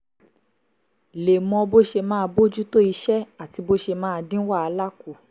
lè mọ bó ṣe máa bójú tó iṣẹ́ àti bó ṣe máa dín wàhálà kù